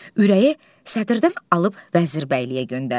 Ürəyi sədrdən alıb Vəzirbəyliyə göndərdi.